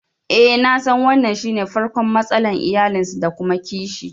I sani wannan shine farkon matsalar iyalinsu da kuma kishi